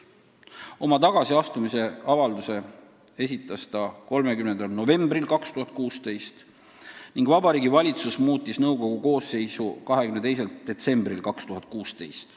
Oma tagasiastumise avalduse esitas ta 30. novembril 2016 ning Vabariigi Valitsus muutis nõukogu koosseisu 22. detsembril 2016.